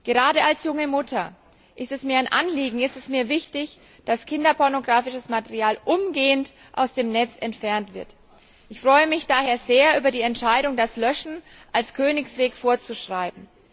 Gerade als junge Mutter ist es mir ein Anliegen und sehr wichtig, dass kinderpornografisches Material umgehend aus dem Netz entfernt wird. Ich freue mich daher sehr über die Entscheidung, das Löschen als Königsweg vorzuschreiben.